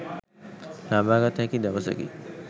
ලබාගත හැකි දවසකි.